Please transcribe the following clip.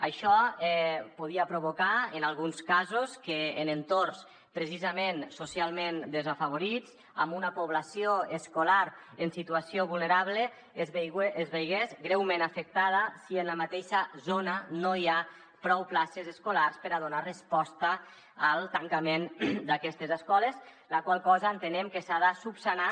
això podia provocar en alguns casos que en entorns precisament socialment desafavorits amb una població escolar en situació vulnerable es veiés greument afectada si en la mateixa zona no hi ha prou places escolars per a donar resposta al tancament d’aquestes escoles la qual cosa entenem que s’ha de solucionar